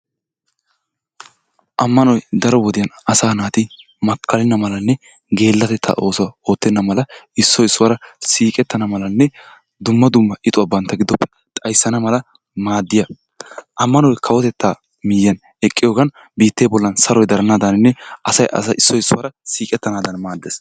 Ammanoy daro wodiya asaa naati makkalenna malanne daro gelatettaa oosuwa oottenna mala issoy issuwara siiqqettana malanne dumma dumma ixxuwa bantta giddoppe xayssana maaddiyaba ammanoy kawotettaa miyiyan eqqiyogan biittee bollan saroy daranaaddaaninne asay issoy issuwara siiqqettanadan maaddees.